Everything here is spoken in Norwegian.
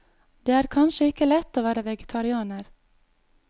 Det er kanskje ikke lett å være vegetarianer.